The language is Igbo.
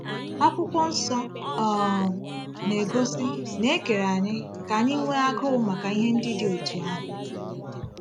Akwụkwọ Nsọ um na-egosi na e kere anyị ka anyị nwee agụụ maka ihe ndị dị otú ahụ.